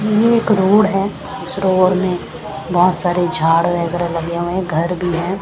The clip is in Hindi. ये एक रोड है इस रोड में बहोत सारे झाड़ वगेरा लगे हुए है घर भी है।